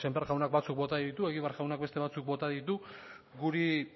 sémper jaunak batzuk bota ditu egibar jaunak beste batzuk bota ditu guri